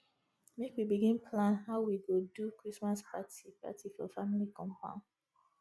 make we begin plan how we go do christmas party party for family compound